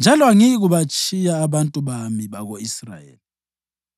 njalo angiyikubatshiya abantu bami bako-Israyeli.”